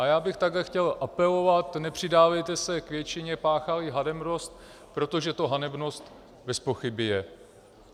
A já bych takhle chtěl apelovat: nepřidávejte se k většině, páchá-li hanebnost, protože to hanebnost bezpochyby je.